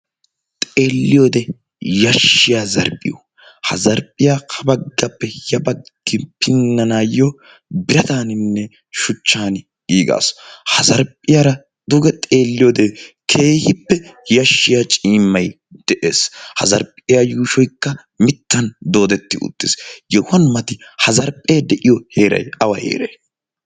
xeelliyoode yashshiya zarphphiyo ha zarphphiyaa ha baggappe ya baggi pinnanaayyo birataaninne shuchchan giigaasu ha zarphphiyaara duge xeelliyoode keehippe yashshiya ciimmay de'ees ha zarphphiyaa yuushoykka mittan doodetti uttiis yohuwan mati ha zarphphee de'iyo heeray awa heeray